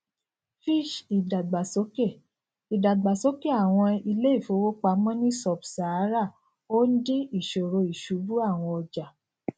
fitch ìdàgbàsókè ìdàgbàsókè àwọn ilé ìfowópamọ ní subsahara ó ń dín ìṣòro ìṣubú àwọn ọjà